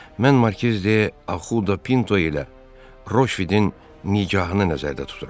Mən Markiz De Axuda Pinto ilə Roşvidin nikahını nəzərdə tuturam.